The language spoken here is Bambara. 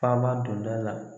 Taama donda la